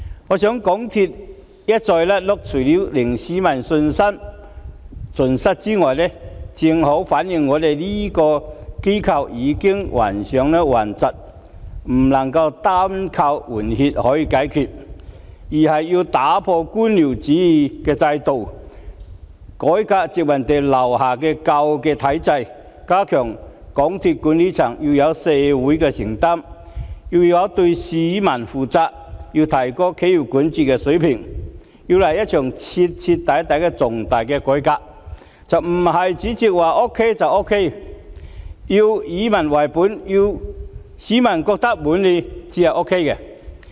我認為港鐵公司一再"甩轆"，除了令市民信心盡失外，也正好反映這間機構已患上頑疾，不能夠單靠換血解決問題，而是要解決官僚主義制度，改革殖民地時代留下來的舊體制，加強港鐵管理層對社會的承擔及對市民所負的責任，並提高企業管治水平，來一場徹底的重大改革，不是主席說 OK 就 OK， 而是要以民為本，要市民覺得滿意才 OK。